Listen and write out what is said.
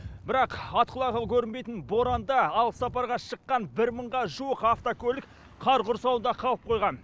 бірақ ат құлағы көрінбейтін боранда алыс сапарға шыққан бір мыңға жуық автокөлік қар құрсауында қалып қойған